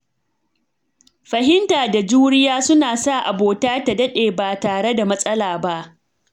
Fahimta da juriya suna sa abota ta daɗe ba tare da matsala ba.